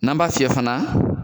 N'an b'a fiyɛ fana